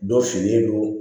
Dɔ finnen don